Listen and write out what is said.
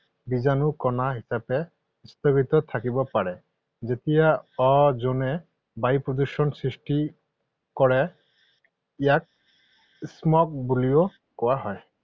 বীজাণু কণা হিচাপে স্থগিত থাকিব পাৰে। যেতিয়া অজনে বায়ু প্ৰদুষণ সৃষ্টি কৰে ইয়াক smog বুলিও কোৱা হয়৷